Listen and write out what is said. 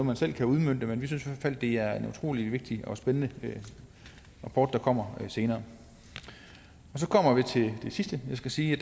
man selv kan udmønte men vi synes i hvert fald det er en utrolig vigtig og spændende rapport der kommer senere og så kommer vi til det sidste jeg skal sige